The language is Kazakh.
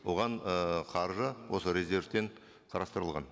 оған ы қаржы осы резервтен қарастырылған